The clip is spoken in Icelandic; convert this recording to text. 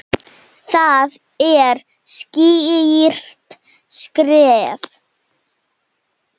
Það er skýrt skref.